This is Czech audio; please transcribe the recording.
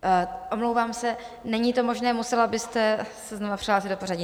Omlouvám se, není to možné, musela byste se znova přihlásit do pořadí.